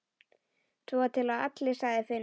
Svo til allir, sagði Finnur.